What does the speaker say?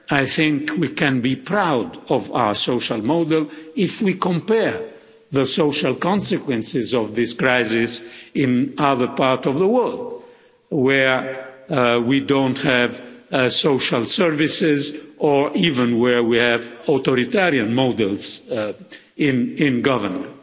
I think we can be proud of our social model if we compare the social consequences of this crisis in other parts of the world where we don't have social services or even where we have authoritarian models in government.